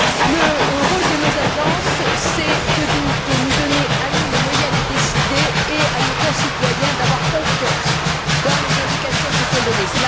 Le rôle de nos agences est de nous donner, à nous, les moyens de décider et de permettre à nos concitoyens d'avoir confiance dans les indications qui sont données.